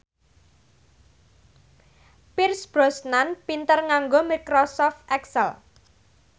Pierce Brosnan pinter nganggo microsoft excel